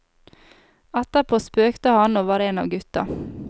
Etterpå spøkte han og var en av gutta.